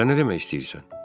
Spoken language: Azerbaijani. Sən nə demək istəyirsən?